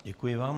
Děkuji vám.